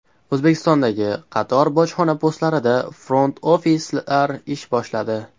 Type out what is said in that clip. O‘zbekistondagi qator bojxona postlarida front-ofislar ish boshladi.